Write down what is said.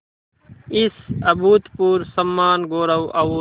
इस अभूतपूर्व सम्मानगौरव और